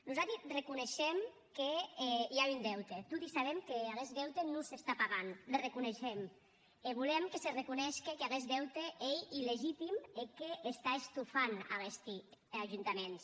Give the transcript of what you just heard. nosati reconeishem que i a un deute toti sabem qu’aguest deute non s’està pagant le reconeishem e volem que se reconeishque qu’aguest deute ei illegitim e qu’està estofant aguesti ajuntaments